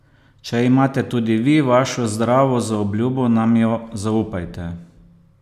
Če imate tudi vi vašo zdravo zaobljubo nam jo zaupajte.